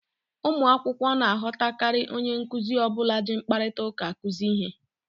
Ụmụ akwụkwọ na-aghọtakarị onye nkuzi ọ bụla ji mkparịta ụka akụzi ihe.